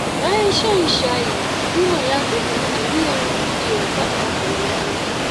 Bayan shan shayi, Umar ya ƙudiri aniyar gujewa faɗa a wurin aiki.